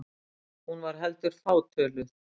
Hún var heldur fátöluð.